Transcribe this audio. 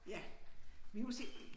Ja vi må se